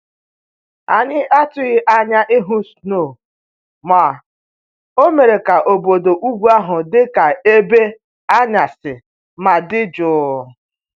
Anyị atụghị anya ịhụ snow ma o mere ka obodo ugwu ahụ dị ka ebe anwansị ma dị jụụ